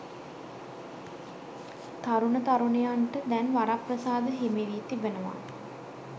තරුණ තරුණියන්ට දැන් වරප්‍රසාද හිමිවී තිබෙනවා.